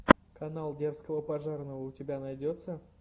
канал дерзкого пожарного у тебя найдется